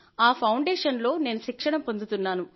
ఆఅ foundation లో నేను శిక్షణ పొందుతున్నాను